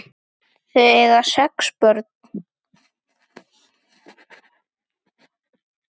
Þau eiga sex börn.